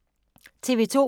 TV 2